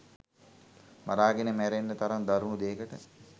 මරාගෙන මැරෙන්න තරං දරුණු දේකට